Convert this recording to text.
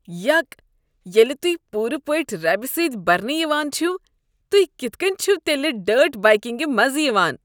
یک۔ ییٚلہ تُہۍ پوٗرٕ پٲٹھۍ ربہِ سٕتۍ برنہٕ یوان چھِوٕ تُہۍ کتھ کٔنۍ چھوٕ تیٚلہ ڈٲرٹ بایکِنٛگہِ مزٕ یوان؟